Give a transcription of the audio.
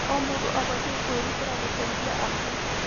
O mũndũ abatiĩ kwĩrutĩra gũteithia angĩ.